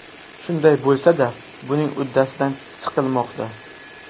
Shunday bo‘lsa-da, buning uddasidan chiqilmoqda.